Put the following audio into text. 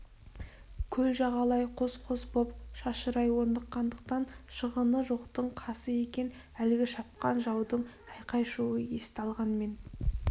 көл жағалай қос-қос боп шашырай орныққандықтан шығыны жоқтың қасы екен әлгі шапқан жаудың айқай-шуы есті алғанмен